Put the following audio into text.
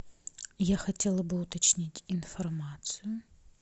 я хотела бы уточнить информацию